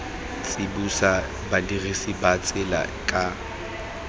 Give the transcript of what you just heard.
tsibosa badirisi ba tsela ka